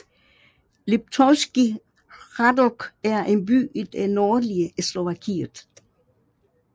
Liptovský Hrádok er en by i det nordlige Slovakiet